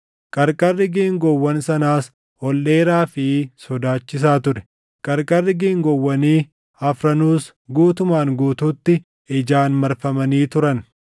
Qarqarri geengoowwan sanaas ol dheeraa fi sodaachisaa ture; qarqarri geengoowwanii afranuus guutumaan guutuutti ijaan marfamanii turan.